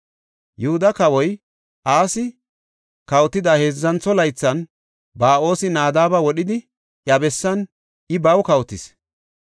Yihuda kawoy Asi kawotida heedzantho laythan Ba7oosi Nadaaba wodhidi iya bessan I baw kawotis.